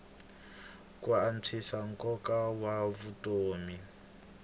ku antswisa nkoka wa vutomi